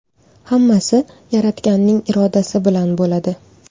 Hammasi Yaratganning irodasi bilan bo‘ladi.